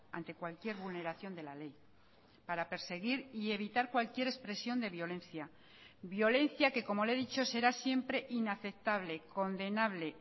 ante cualquier vulneración de la ley para perseguir y evitar cualquier expresión de violencia violencia que como le he dicho será siempre inaceptable condenable